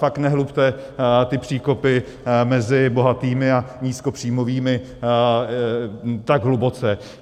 Fakt nehlubte ty příkopy mezi bohatými a nízkopříjmovými tak hluboce.